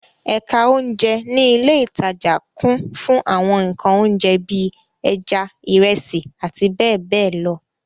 Ẹ̀ka oúnjẹ ní ilé-ìtajà kún fún àwọn nǹkan oúnjẹ bí i; ẹja, ìrẹsì àti bẹ́ẹ̀ bẹ́ẹ̀ lọ.